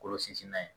Kolo sinsin n'a ye